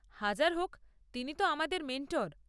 হাজার হোক, তিনি তো আমাদের মেন্টর।